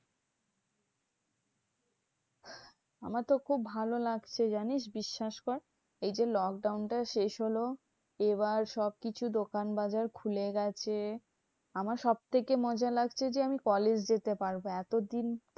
আমার তো খুব ভালো লাগছে জানিস বিশ্বাস কর? এই যে lockdown টা শেষ হলো, এবার সবকিছু দোকান বাজার খুলে গেছে। আমার সবথেকে মজা লাগছে যে আমি কলেজ যেতে পারবো। এতদিন